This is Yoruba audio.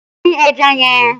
Dín ẹja yẹn!